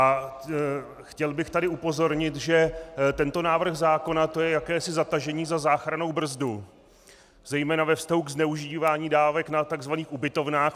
A chtěl bych tady upozornit, že tento návrh zákona, to je jakési zatažení za záchrannou brzdu zejména ve vztahu k zneužívání dávek na tzv. ubytovnách.